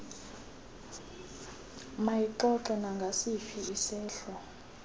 mayixoxe nangasiphi isehlo